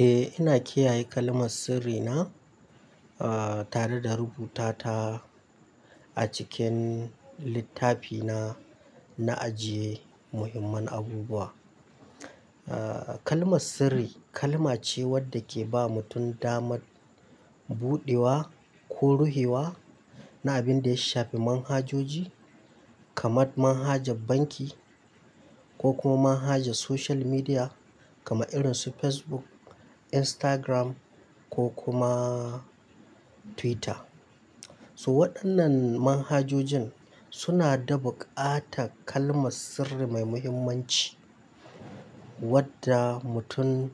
Eh, ina kiyaye kalmar sirri na ah tare da rubuta ta a cikin littafi na, na ajiye muhimman abubuwa. Kalmar sirri, kalma ce wadda ke ba mutum damar buɗewa ko ruhewa na abinda ya shafi manhajoji kaman manhajar banki ko kuma manhajar social media kamar irin su Facebook, Instagram ko kuma Twitter. To waɗannan manhajojin suna da buƙatar kalmar sirri mai muhimmanci wadda mutum,